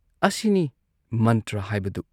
ꯑꯁꯤꯅꯤ ꯃꯟꯇ꯭ꯔ ꯍꯥꯏꯕꯗꯨ